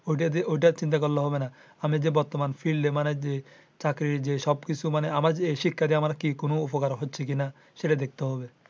ওইটা চিন্তা করলে হবে না। আমি যে বর্তমান field এ মানে যে চাকরি যে সব কিছু মানে যে আমার এই শিক্ষা দিয়ে কোনো উপকার হচ্ছে কিনা সেইটা দেখতে হবে।